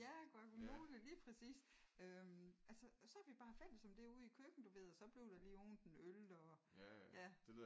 Ja guacamole lige præcis øh altså og så er vi bare fælles som det ude i æ køkken du ved og så bliver der lige åbnet en øl og ja